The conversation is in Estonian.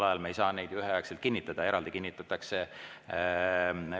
Ja me ei saakski neid üheaegselt kinnitada, need kinnitatakse eraldi.